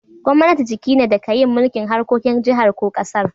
Gwamnati jiki ne da ka yin mulki'n harkokin jihar ko kasar.